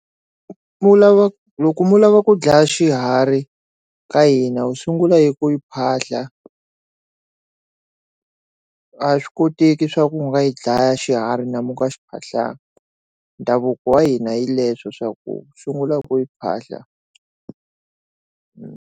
Mu lava loko mu lava ku dlaya xiharhi ka hina wu sungula hi ku yi phahla a swi koteki swa ku nga yi dlaya xiharhi u nga xi phahlangi ndhavuko wa hina hi leswo swa ku sungula hi ku yi phahla.